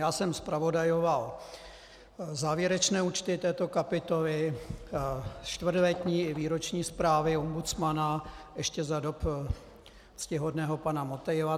Já jsem zpravodajoval závěrečné účty této kapitoly, čtvrtletní i výroční zprávy ombudsmana ještě za dob ctihodného pana Motejla.